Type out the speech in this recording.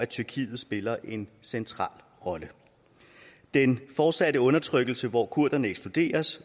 tyrkiet spiller en central rolle den fortsatte undertrykkelse hvor kurderne ekskluderes